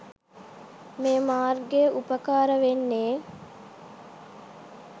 මේ මාර්ගය උපකාර වෙන්නෙ.